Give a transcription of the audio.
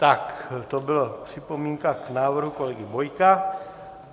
Tak, to byla připomínka k návrhu kolegy Bojka.